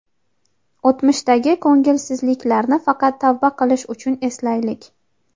O‘tmishdagi ko‘ngilsizliklarni faqat tavba qilish uchun eslaylik.